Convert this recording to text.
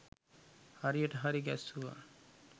හරියට හරි ගැස්සුවා.